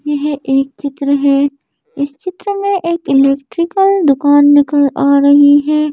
यह एक चित्र है इस चित्र में एक इलेक्ट्रिकल दुकान निकल आ रही हैं।